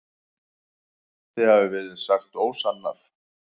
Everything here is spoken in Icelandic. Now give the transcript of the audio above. Það hafi verið sagt ósannað.